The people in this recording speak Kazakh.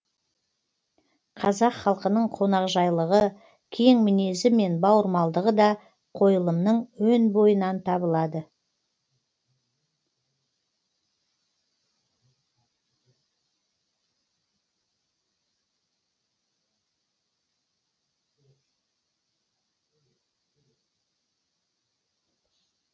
қазақ халқының қонақжайлығы кең мінезі мен бауырмалдығы да қойылымның өн бойынан табылады